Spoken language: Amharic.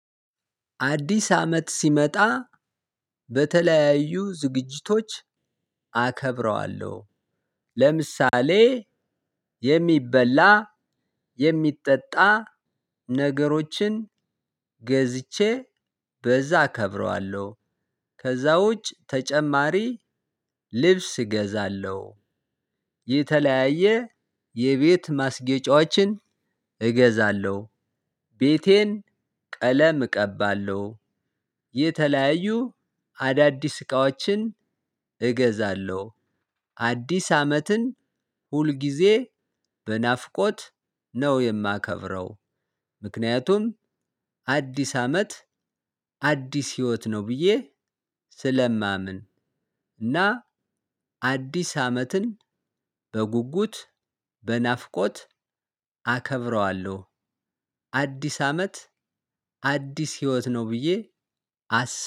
አዲስ አመት ሲመጣ በተለያዩ ዝግጅቶች አከብረዋለሁ። ለምሳሌ የሚበላ የሚጠጣ ነገሮችን ገዝቼ በዛ እከብረዋለሁ። ከዛ ውጭ ተጨማሪ ልብስ እገዛለሁ። የተለያየ የቤት ማስጌጫዎችን እገዛለሁ። ቤቴን ቀለም እቀባለሁ። የተለያዩ አዳዲስ እቃዎችን እገዛለሁ። አዲስ አመትን ሁል ጊዜ በናፍቆት ነው የማከብረው። ምክንያቱም አዲስ አመት አዲስ ህይወት ነው ብዬ ስለማምን እና አዲስ አመትን በጉጉት በናፍቆት አከብረዋለሁ። አዲስ አመት አዲስ ህይወት ነው ብዬ አስ